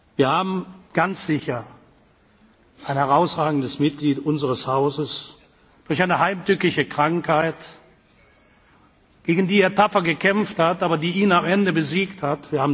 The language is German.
einlade. Wir haben ganz sicher ein herausragendes Mitglied unseres Hauses durch eine heimtückische Krankheit verloren, gegen die er tapfer gekämpft hat, aber die ihn am Ende besiegt